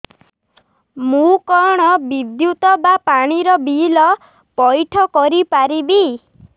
ମୁ କଣ ବିଦ୍ୟୁତ ବା ପାଣି ର ବିଲ ପଇଠ କରି ପାରିବି